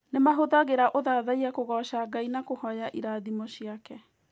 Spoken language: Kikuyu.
Nĩ mahũthagĩra ũthathaiya kũgooca Ngai na kũhoya irathimo ciake.